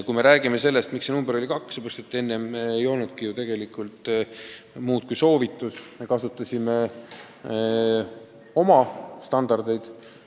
Kui me räägime sellest, miks see number kaks oli, siis enne ei olnud ju muud kui soovitused, me kasutasime oma standardeid.